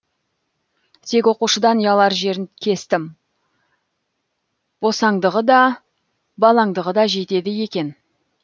тек оқушыдан ұялар жерін кестім босаңдығы да балаңдығы да жетеді екен